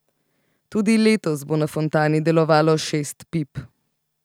Tudi letos bo na fontani delovalo šest pip.